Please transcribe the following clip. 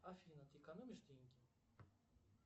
афина ты экономишь деньги